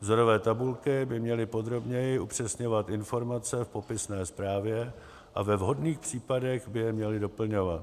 Vzorové tabulky by měly podrobněji upřesňovat informace v popisné zprávě a ve vhodných případech by je měly doplňovat.